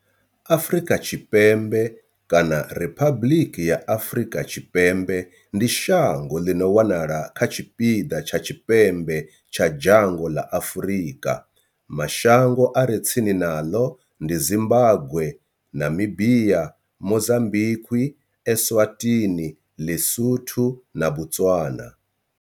Afrika Tshipembe kana Riphabuḽiki ya Afrika Tshipembe ndi shango ḽi no wanala kha tshipiḓa tsha tshipembe tsha dzhango ḽa Afurika. Mashango a re tsini naḽo ndi Zimbagwe, Namibia, Mozambikwi, Eswatini, Ḽisotho na Botswana.